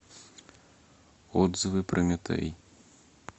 отзывы прометей